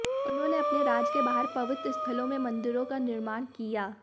उन्होने अपने राज्य के बाहर पवित्र स्थलों में मंदिरों का निर्माण किया